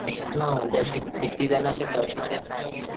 तेच ना म्हणजे अशे किती जण अशे टच मध्ये नाही आपल्या.